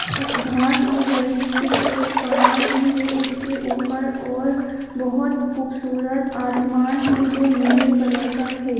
अ घास उग रही है एक पहाड़ भी है उसके ऊपर और बोहोत खूबसूरत आसमान है जो नीले कलर का है।